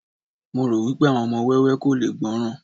mo ro wipe àwọn ọmọ wẹwẹ ko le gbọràn